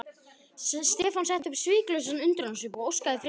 Stefán setti upp svikalausan undrunarsvip og óskaði frekari útlistunar.